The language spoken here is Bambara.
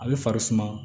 A bɛ fari suma